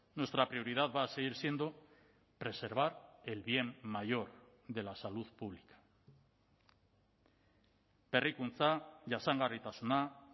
nuestra prioridad va a seguir siendo preservar el bien mayor de la salud pública berrikuntza jasangarritasuna